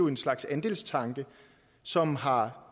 en slags andelstanke som har